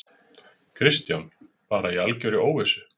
Kristján: Bara í algjörri óvissu?